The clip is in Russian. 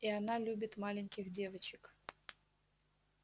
и она любит маленьких девочек